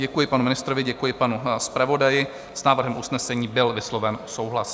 Děkuji panu ministrovi, děkuji panu zpravodaji, s návrhem usnesení byl vysloven souhlas.